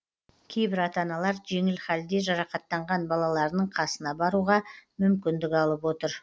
кейбір ата аналар жеңіл халде жарақаттанған балаларының қасына баруға мүмкіндік алып отыр